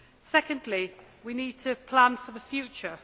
Secondly, we need to plan for the future.